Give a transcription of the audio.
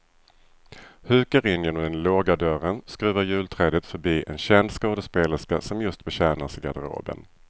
Hukar in genom den låga dörren, skruvar julträdet förbi en känd skådespelerska som just betjänas i garderoben.